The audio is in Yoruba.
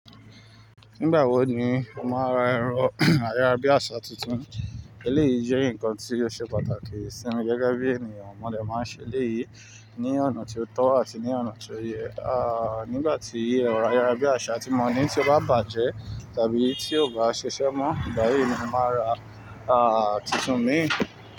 Nígbà wo ni ó máa ra ẹ̀rọ ayárabíàṣá tuntun? Èléyìí jẹ́ nǹkan tí ó ṣe pàtàkì sí mi gẹ́gẹ́ bí ènìyàn. Mo dè máa n ṣe eléyìí ní ọ̀nà tí ó tọ́ àti ní ọ̀nà tí ó yẹ. Nígbà tí ero ayárabíàṣá tí mo ní ti ó bá bàjẹ́ tàbí ti ó bá ṣiṣẹ́ mọ́, ìgbà yìí ni mo màá ra tuntun mí.